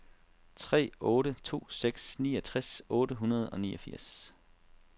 tre otte to seks niogtres otte hundrede og niogfirs